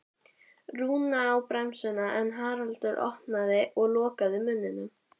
Rúna á bremsuna en Haraldur opnaði og lokaði munninum.